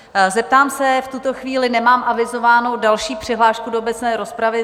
Zeptám se - v tuto chvíli nemám avizovanou další přihlášku do obecné rozpravy.